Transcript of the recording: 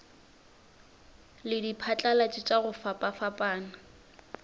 le diphatlalatši tša go fapafapana